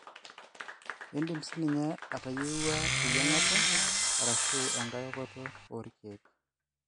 Indim sininye atayieuwua eyiangata arashu engae okoto olkek